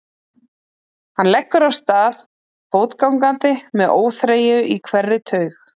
Hann leggur af stað fótgangandi með óþreyju í hverri taug.